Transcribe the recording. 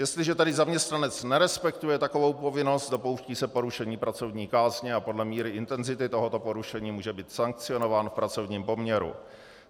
Jestliže tedy zaměstnanec nerespektuje takovou povinnost, dopouští se porušení pracovní kázně a podle míry intenzity tohoto porušení může být sankcionován v pracovním poměru.